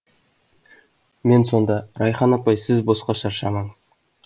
мен сонда райхан апай сіз босқа шаршамаңыз